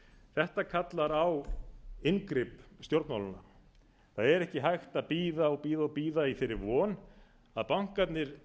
þetta kallar á inngrip stjórnmálanna það er ekki hægt að bíða og bíða og bíða í þeirri von að bankarnir